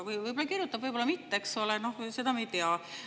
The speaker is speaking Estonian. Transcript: Võib-olla kirjutab, võib-olla mitte, seda me ei tea.